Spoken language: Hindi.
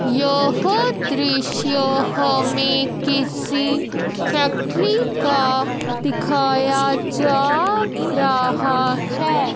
यह दृश्य हमें किसी फैक्ट्री का दिखाया जा रहा है।